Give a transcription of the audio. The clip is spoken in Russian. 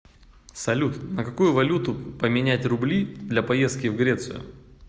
салют на какую валюту поменять рубли для поездки в грецию